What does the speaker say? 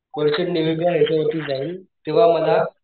merchant navy च्या ह्याच्यावरती जाईल तेव्हा मला,